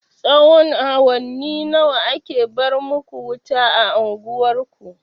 Tsahon awanni nawa ake bar maku wuta a unguwar ku?